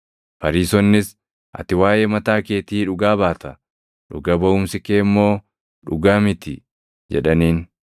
Fariisonnis, “Ati waaʼee mataa keetii dhugaa baata; dhuga baʼumsi kee immoo dhugaa miti” jedhaniin.